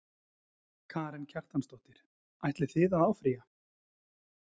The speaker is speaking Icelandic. Karen Kjartansdóttir: Ætlið þið að áfrýja?